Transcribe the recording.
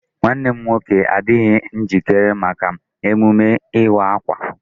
Nwanne m nwoke adịghị njikere maka emume ịwa akwa.